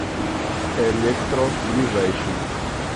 электро ближайший